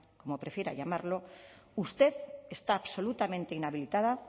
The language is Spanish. como prefiera llamarlo usted está absolutamente inhabilitada